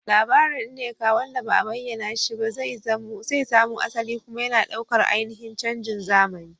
Labarin Nneka wanda ba a bayyana shi ba zai samo asali, yana kuma ɗaukar ainihin canjin zamani.